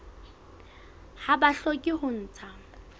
ha ba hloke ho ntsha